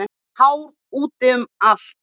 Hár úti um allt